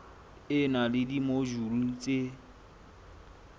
e na le dimojule tse